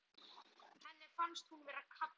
Henni fannst hún vera að kafna.